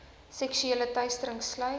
seksuele teistering sluit